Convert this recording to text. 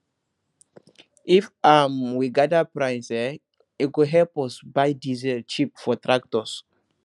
if um we gather price eh e go help us buy diesel cheap for tractors